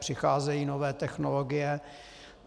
Přicházejí nové technologie.